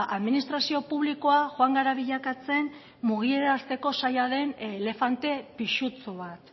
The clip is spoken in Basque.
administrazio publikoa joan gara bilakatzen mugiarazteko zaila den elefante pisutsu bat